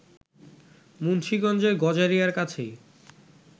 মুন্সিগঞ্জের গজারিয়ার কাছেই